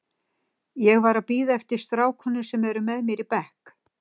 Ég var að bíða eftir strákunum sem eru með mér í bekk.